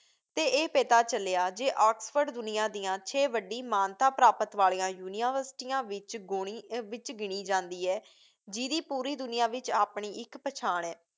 ਅਤੇ ਇਹ ਪਤਾ ਚਲਿਆ ਜੇ ਆਕਸਫ਼ੋਰਡ ਦੁਨੀਆ ਦੀਆਂ ਛੇ ਵੱਡੀ ਮਾਨਤਾ ਪ੍ਰਾਪਤ ਵਾਲੀਆਂ ਯੂਨੀਵਰਸਿਟੀਆਂ ਵਿੱਚ ਗੌਣੀ, ਵਿੱਚ ਗਿਣੀ ਜਾਂਦੀ ਏ ਜਿਹਦੀ ਪੂਰੀ ਦੁਨੀਆ ਵਿੱਚ ਆਪਣੀ ਇੱਕ ਪਛਾਣ ਹੈ।